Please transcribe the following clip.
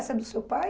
Essa é do seu pai?